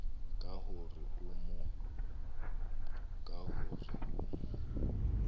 ka ho re o mo